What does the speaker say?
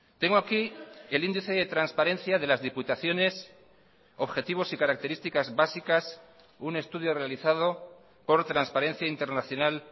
tengo aquí el índice de transparencia de las diputaciones objetivos y características básicas un estudio realizado por transparencia internacional